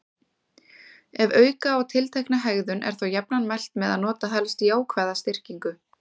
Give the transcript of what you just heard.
Ef auka á tiltekna hegðun er þó jafnan mælt með að nota helst jákvæða styrkingu.